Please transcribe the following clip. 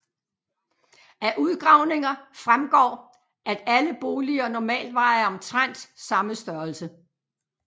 Af udgravninger fremgår at alle boliger normalt var af omtrent samme størrelse